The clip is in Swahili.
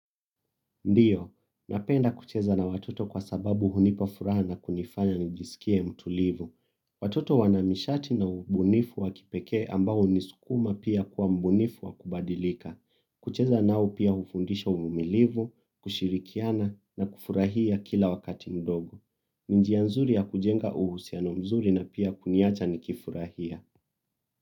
Ndio, napenda kucheza na watoto kwa sababu hunipa furaha na kunifanya nijisikie mtulivu. Watoto wanamishati na ubunifu wa kipekee ambao hunisukuma pia kuwa mbunifu wa kubadilika. Kucheza nao pia hufundisha umilivu, kushirikiana na kufurahia kila wakati mdogo. Ni njia nzuri ya kujenga uhusiano mzuri na pia kuniacha nikifurahia.